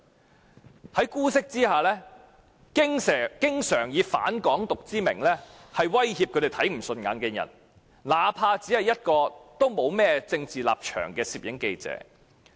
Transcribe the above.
他們在姑息之下經常以"反港獨"之名威脅他們看不順眼的人，那怕只是沒有任何政治立場的攝影記者。